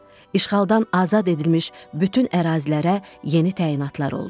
İşğaldan azad edilmiş bütün ərazilərə yeni təyinatlar oldu.